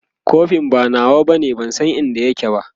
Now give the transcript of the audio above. kofin ba nawa bane ban San inda yake ba